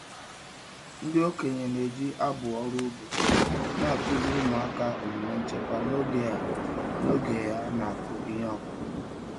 Ndị okenye na-eji abụ ọrụ ugbo na-akụziri ụmụaka omume nchekwa n'oge a n'oge a na-akụ ihe ọkụkụ.